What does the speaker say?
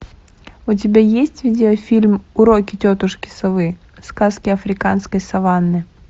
у тебя есть видеофильм уроки тетушки совы сказки африканской саванны